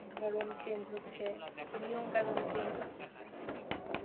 ধরণ change হচ্ছে নিয়ম কানন change হচ্ছে হ্যাঁ